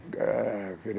fyrir